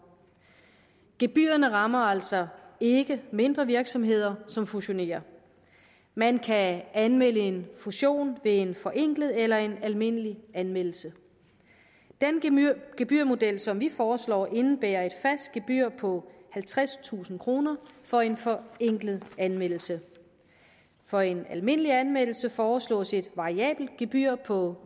gebyrerne rammer altså ikke mindre virksomheder som fusionerer man kan anmelde en fusion ved en forenklet eller en almindelig anmeldelse den gebyrmodel som vi foreslår indebærer et fast gebyr på halvtredstusind kroner for en forenklet anmeldelse for en almindelig anmeldelse foreslås et variabelt gebyr på